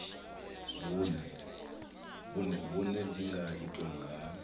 vhuṋe dzi nga itwa nga